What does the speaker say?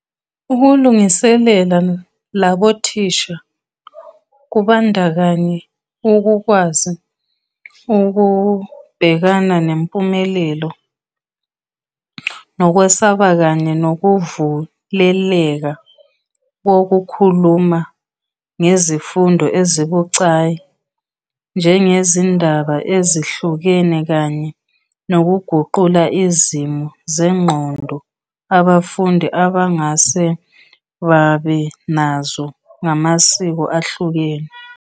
Ukulungiselela labo thisha kubandakanya ukukwazi ukubhekana ngempumelelo nokwesaba kanye nokuvuleleka kokukhuluma ngezifundo ezibucayi, njengezindaba ezihlukene kanye nokuguqula izimo zengqondo abafundi abangase babe nazo ngamasiko ahlukene.